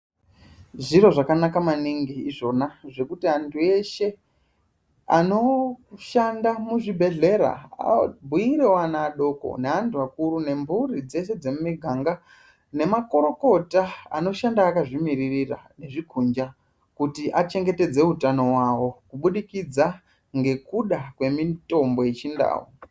Zviro zvakanaka maningi izvona, zvekuti anthu eshe anoshanda muzvibhedhlera, abhuirewo ana adoko neanthu akuru nemphuri dzeshe dzemumiganga, nemakorokota anoshanda akazvimiririra zvikudhla, kuti achengetedze utano wawo, kubudikidza ngekuda kwemitombo yechindau.